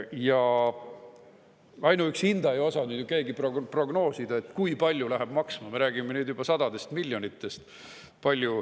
Ja ainuüksi hinda ei osanud keegi praegu prognoosida, kui palju läheb maksma, me räägime nüüd juba sadadest miljonitest.